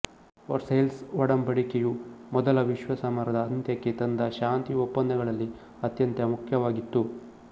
Versailles ಒಡಂಬಡಿಕೆಯು ಮೊದಲ ವಿಶ್ವ ಸಮರದ ಅಂತ್ಯಕ್ಕೆ ತಂದ ಶಾಂತಿ ಒಪ್ಪಂದಗಳಲ್ಲಿ ಅತ್ಯಂತ ಮುಖ್ಯವಾಗಿತ್ತು